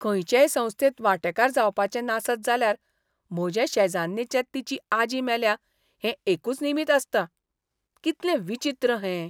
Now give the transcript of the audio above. खंयचेय संस्थेंत वांटेकार जावपाचें नासत जाल्यार म्हजे शेजान्नीचें तिची आजी मेल्या हें एकूच निमीत आसता. कितलें विचीत्र हें!